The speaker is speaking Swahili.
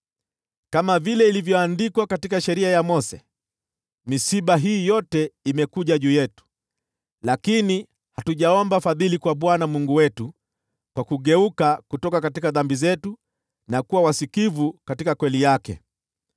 Kama vile ilivyoandikwa katika sheria ya Mose, misiba hii yote imekuja juu yetu, lakini hatujaomba fadhili kwa Bwana Mungu wetu kwa kugeuka kutoka dhambi zetu na kuwa wasikivu katika kweli yake.